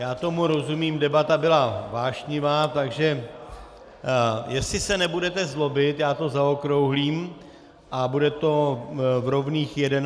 Já tomu rozumím, debata byla vášnivá, takže jestli se nebudete zlobit, já to zaokrouhlím a bude to v rovných 11 hodin.